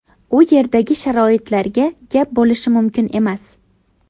U yerdagi sharoitlarga gap bo‘lishi mumkin emas.